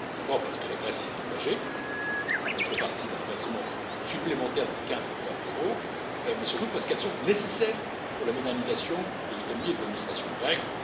D'abord, parce que la Grèce s'y est engagée en contrepartie d'un versement supplémentaire de 15 milliards d'euros, mais surtout parce qu'elles sont nécessaires pour la modernisation de l'économie et de l'administration grecques.